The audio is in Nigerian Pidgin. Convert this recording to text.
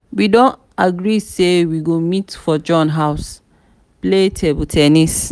we don agree say we go meet for john house play table ten nis